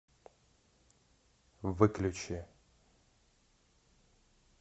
выключи